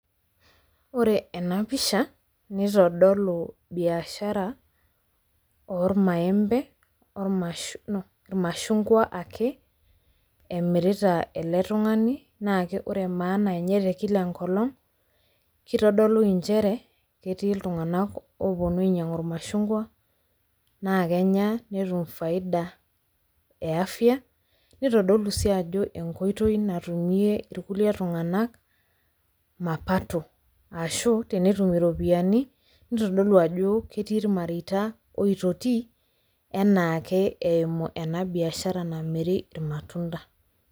Ore ena pisha neitodolu biashara oormaembe ormashh  no, irmashungwa ake emirita ele tung'ani naake ore maana enye tekila enkolong' keitodolu inchere ketii iltung'anak opuonu ainyang'u irmashungwa naakenya netum faida e afya neitodolu sii ajo enkoitoi natumie irkulie tung'anak mapato ashuu tenetum iropiani neitodolu ajoo ketii irmareita oitoti enaake eimu ena biashara namiri ilmatunda.